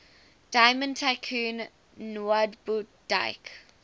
diamond tycoon nwabudike